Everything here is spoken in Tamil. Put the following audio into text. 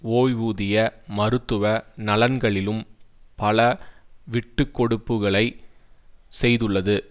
ஓய்வூதிய மருத்துவ நலன்களிலும் பல விட்டு கொடுப்புகளை செய்துள்ளது